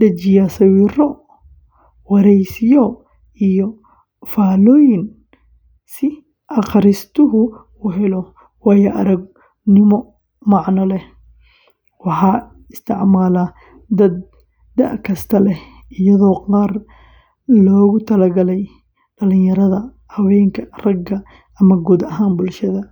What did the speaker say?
dhejiyaa sawirro, waraysiyo, iyo faallooyin si akhristuhu u helo waayo-aragnimo macno leh. Waxaa isticmaala dad da’ kasta leh, iyadoo qaar loogu talagalay dhallinyarada, haweenka, ragga, ama guud ahaan bulshada.